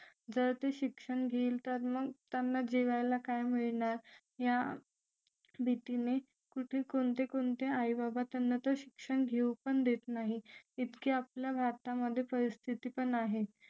जर ते शिक्षण घेईल तर मग त्यांना जेवायला काय मिळणार या भीतीने कुठे कोणते आई-बाबा तर शिक्षण घेऊ पण देत नाही इतके आपल्या भारतामध्ये परिस्थिती पण आहे